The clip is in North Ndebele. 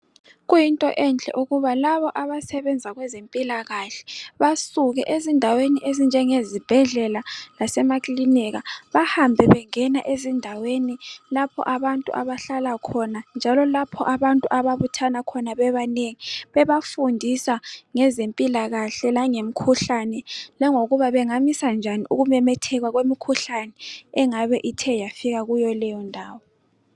Kuyinto enhle ukuba laba abasebenza kwezempilakahle basuke ezindaweni ezinjengezibhedlela lasemaclinika bahambe bengena ezindaweni lapho abantu abahla khona njalo lapha abantu ababuthana khona bebanengi bebafundisa ngezimpila kahle langemkhuhlane langokuba bengamisa njani ukumemetheka kwemikhuhlane angabe ithe yafika kuyo leyo ndawo.